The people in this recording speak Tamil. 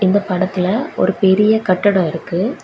இந்த படத்துல ஒரு பெரிய கட்டடோ இருக்கு.